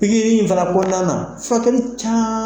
Pikiri nin fana kɔnɔna na fatulican.